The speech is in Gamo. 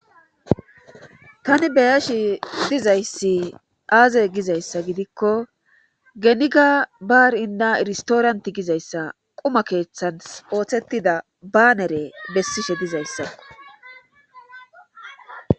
Tani beyashi dizayssi aaze gizayssa gidikko geniga baarinna iristooranti gizayssa quma keeththans ooththetida baanere bessishe dizayssako.